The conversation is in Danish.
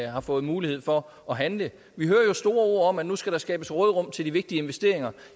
har fået mulighed for at handle vi hører jo store ord om at nu skal der skabes råderum til de vigtige investeringer